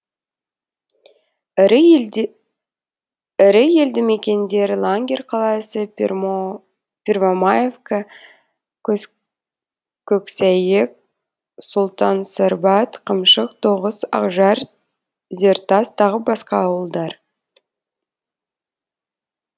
ірі елді мекендері лангер қаласы первомаевка көксәйек сұлтансарбат қамшық тоғыс ақжар зертас тағы басқа ауылдар